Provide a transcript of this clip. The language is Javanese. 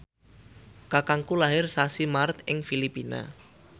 kakangku lair sasi Maret ing Filipina